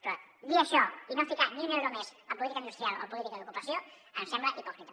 però dir això i no ficar ni un euro més a política industrial o a política d’ocupació em sembla hipòcrita